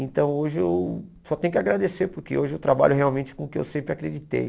Então hoje eu só tenho que agradecer, porque hoje eu trabalho realmente com o que eu sempre acreditei.